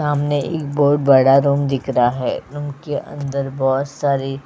सामने एक बहुत बड़ा रूम दिख रहा है रूम के अंदर बहुत सारे --